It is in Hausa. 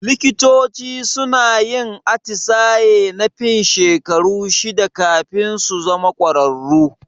Likitoci suna yin atisaye na fin shekaru shida kafin su zama kwararru.